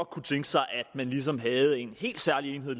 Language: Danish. kunne tænke sig at man ligesom havde en helt særlig enhed